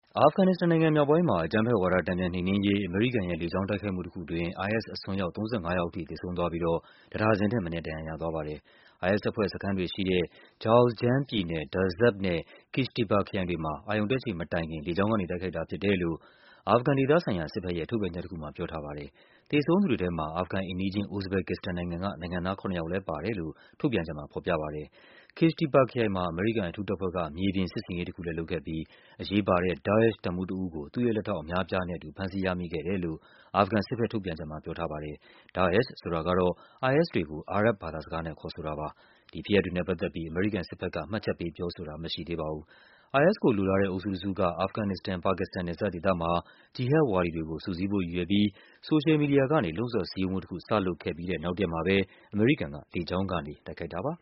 အာဖဂန်နစ္စတန်နိုင်ငံမြောက်ပိုင်းမှာ အကြမ်းဖက်ဝါဒ တန်ပြန်နှိမ်နင်းရေး အမေရိကန်ရဲ့ လေကြောင်းတိုက်ခိုက်မှုတခုအတွင်း IS အစွန်းရောက် ၃၅ ယောက်ထိ သေဆုံးသွားပြီးတော့ တဒါဇင်ထက်မနည်း ဒဏ်ရာရသွားပါတယ်။ IS အဖွဲ့ရဲ့စခန်းတွေရှိတဲ့ Jowzjan ပြည်နယ်၊ Darzab နဲ့ Qishtepa ခရိုင်တွေမှာ အာရုဏ်တက်ချိန်မတိုင်ခင် လေကြောင်းကနေ တိုက်ခိုက်တာဖြစ်တယ်လို့ အာဖဂန် ဒေသဆိုင်ရာစစ်ဘက်ရဲ့ ထုတ်ပြန်ချက်တခုမှာ ပြောထားပါတယ်။ သေဆုံးသူတွေထဲမှာ အာဖဂန်အိမ်နီးချင်း ဥဇဘက်ကစ္စတန်နိုင်ငံက နိုင်ငံသား ၇ ယောက်လည်းပါတယ်လို့ ထုတ်ပြန်ချက်မှာ ဖော်ပြထားပါတယ်။ Qishtepa ခရိုင်မှာ အမေရိကန် အထူးတပ်ဖွဲ့က မြေပြင်စစ်ဆင်ရေးတခုလည်း လုပ်ခဲ့ပြီး အရေးပါတဲ့ Daesh တပ်မှူးတဦးကို သူ့ရဲ့လက်ထောက် အများအပြားနဲ့အတူ ဖမ်းဆီးရမိခဲ့တယ်လို့ အာဖဂန်စစ်ဘက် ထုတ်ပြန်ချက်မှာ ပြောထားပါတယ်။ Daesh ဆိုတာကတော့ IS တွေကို အာရပ်ဘာသာစကားနဲ့ ခေါ်ဆိုတာပါ။ ဒီဖြစ်ရပ်တွေနဲ့ပတ်သက်ပြီး အမေရိကန်စစ်ဘက်က မှတ်ချက်ပေးပြောဆိုတာ မရှိသေးပါဘူး။ IS ကိုလိုလားတဲ့ အုပ်စုတစုက အာဖဂန်နစ္စတန်-ပါကစ္စတန် နယ်စပ်ဒေသမှာ ဂျီဟတ်ဒ်ဝါဒီတွေကို စုစည်းဖို့ ရည်ရွယ်ပြီး ဆိုရှယ် မီဒီယာကနေ လှုံ့ဆော်စည်းရုံးမှုတခု စလုပ်ခဲ့ပြီးတဲ့ နောက်တရက်မှာပဲ အမေရိကန်က လေကြောင်းကနေ တိုက်ခိုက်တာပါ